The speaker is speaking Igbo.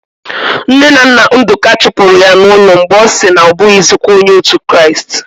Nne na nna Ndụka chụpụrụ ya n'ụlọ mgbe ọ sị na ọ bụghịzikwa onye otu Kraịst.